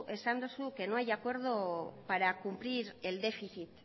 esan duzu que no hay acuerdo para cumplir el déficit